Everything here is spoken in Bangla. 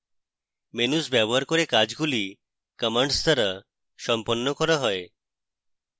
menus ব্যবহার করে কাজগুলি commands দ্বারা সম্পন্ন করা যায়